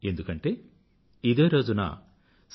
ఎందుకంటే ఇదే రోజున సి